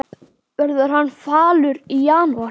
Verður hann falur í janúar?